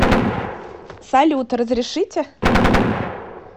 салют разрешите